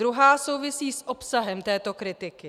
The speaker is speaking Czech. Druhá souvisí s obsahem této kritiky.